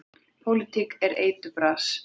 Pólitíkin er eiturbras.